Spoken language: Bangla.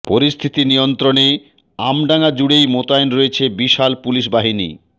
পরিস্থিতি নিয়ন্ত্রণে আমডাঙা জুড়েই মোতায়েন রয়েছে বিশাল পুলিশ বাহিনী